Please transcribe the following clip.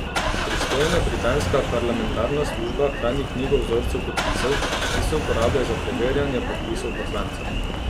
Pristojna britanska parlamentarna služba hrani knjigo vzorcev podpisov, ki se uporablja za preverjanje podpisov poslancev.